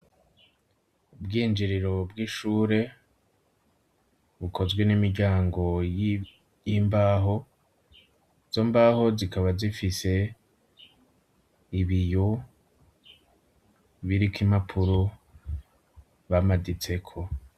Ubwinjiriro bw'ishure, bukozwe n'imiryango y'imbaho, izo mbaho zikaba zifise ibiyo biriko impapuro bamaditseko.